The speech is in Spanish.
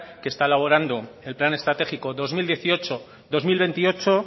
que está elaborando el plan estratégico dos mil dieciocho dos mil veintiocho